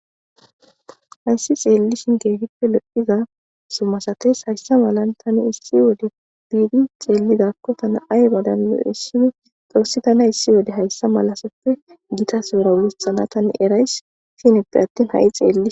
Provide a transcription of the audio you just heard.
Hayssi tseellishin keehippe lo7ida simasates hayssa malay issi wode be7idi cellidakko tana aybadan lo7eshin xoossi thana hissi malasseppe githa sohon uthanaga erays.